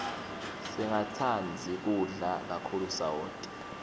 singatsandzi kudla kakhulu sawoti